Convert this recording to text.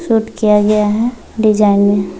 -- suit किया गया है डिजायनिंग --